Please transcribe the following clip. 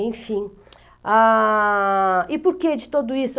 Enfim, ah, e por que de tudo isso?